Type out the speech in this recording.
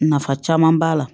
Nafa caman b'a la